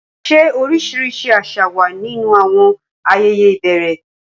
Ṣé oríṣiríṣi àṣà wà nínú àwọn ayẹyẹ ìbẹ̀rẹ̀?